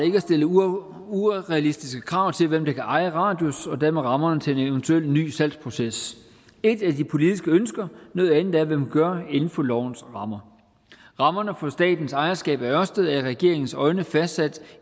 ikke at stille urealistiske krav til hvem der kan eje radius og dermed rammerne til en eventuel ny salgsproces et er de politiske ønsker noget andet er hvad man gør inden for lovens rammer rammerne for statens ejerskab af ørsted er i regeringens øjne fastsat